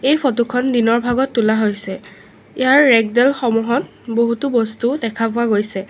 এই ফটোখন দিনৰ ভাগত তোলা হৈছে ইয়াৰ ৰেকডাল সমূহত বহুতো বস্তু দেখা পোৱা গৈছে।